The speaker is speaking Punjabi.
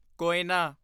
ਕੋਇਨਾ